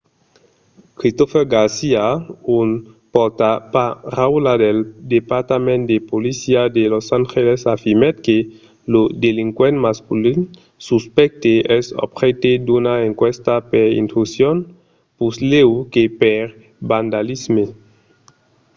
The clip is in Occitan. christopher garcia un pòrtaparaula del departament de polícia de los angeles afirmèt que lo delinquent masculin suspècte es objècte d'una enquèsta per intrusion puslèu que per vandalisme